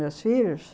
Meus filhos.